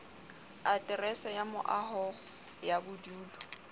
aterese ya moaho ya bodulo